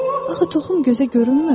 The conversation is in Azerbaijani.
Axı toxum gözə görünmür.